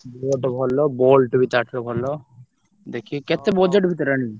boAt ଭଲ Boult ବି ତାଠୁ ଭଲ, ଦେଖିକି କେତେ budget ଭିତରେ ଆଣିବ?